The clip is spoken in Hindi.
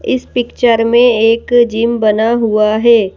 इस पिक्चर मे एक जिम बना हुआ है।